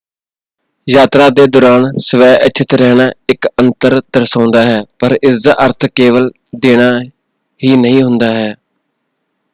ਯਾਤਰਾ ਦੇ ਦੌਰਾਨ ਸਵੈਇੱਛਤ ਰਹਿਣਾ ਇੱਕ ਅੰਤਰ ਦਰਸਾਉਂਦਾ ਹੈ ਪਰ ਇਸਦਾ ਅਰਥ ਕੇਵਲ ਦੇਣਾ ਹੀ ਨਹੀਂ ਹੁੰਦਾ ਹੈ।